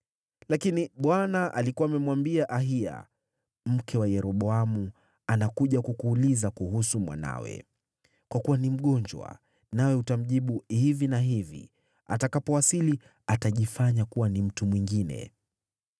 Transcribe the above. Lakini Bwana alikuwa amemwambia Ahiya, “Mke wa Yeroboamu anakuja kukuuliza kuhusu mwanawe, kwa kuwa ni mgonjwa, nawe utamjibu hivi na hivi. Atakapowasili, atajifanya kuwa ni mtu mwingine.”